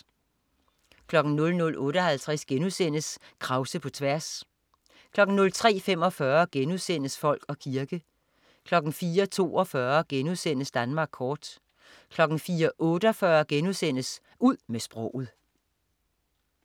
00.58 Krause på tværs* 03.45 Folk og kirke* 04.42 Danmark kort* 04.48 Ud med sproget*